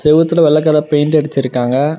செவுத்துல வெள்ள colour paint அடுச்சுருக்காங்க.